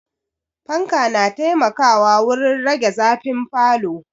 Fanka na taimakawa wurin rage zafin falo